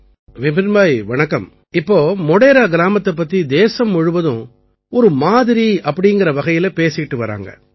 விபின்பாய் வணக்கம் இப்போது மோடேரா கிராமத்தைப் பற்றி தேசம் முழுவதும் ஒரு மாதிரி என்ற வகையிலே பேசி வருகிறது